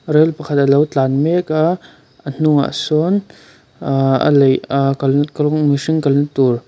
rail pakhat a lo tlan mek a a hnungah sawn uhh a leih ahh kalna krawng mihring kala tur--